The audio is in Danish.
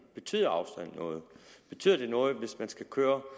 betyder afstand noget betyder det noget hvis man skal køre